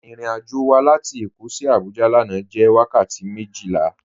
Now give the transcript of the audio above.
Irìn-àjọ́ wà látì Èkó sí Àbújá lànà jẹ́ wakàtí mejila.